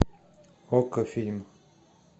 окко фильм